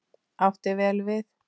Átti vel við.